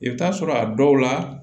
I bɛ taa sɔrɔ a dɔw la